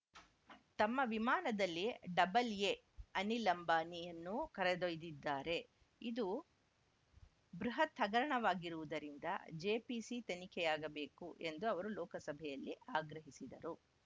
ತಮ್ಮ ವಿಮಾನದಲ್ಲಿ double A Anil ಅಂಬಾನಿಯನ್ನೂ ಕರೆದೊಯ್ದಿದ್ದಾರೆ ಇದು ಬೃಹತ್‌ ಹಗರಣವಾಗಿರುವುದರಿಂದ ಜೆಪಿಸಿ ತನಿಖೆಯಾಗಬೇಕು ಎಂದು ಅವರು ಲೋಕಸಭೆಯಲ್ಲಿ ಆಗ್ರಹಿಸಿದರು